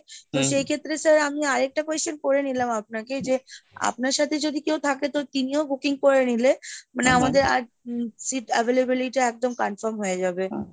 তো সেই ক্ষেত্রে sir আমি আর একটা question করে নিলাম আপনাকে যে আপনার সাথে যদি কেউ থাকে তো তিনিও booking করে নিলে মানে আমাদের আর seat available টা একদম confirm হয়ে যাবে।